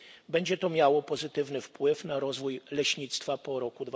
Będzie to miało pozytywny wpływ na rozwój leśnictwa po roku